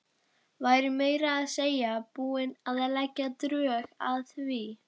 Væri meira að segja búin að leggja drög að því.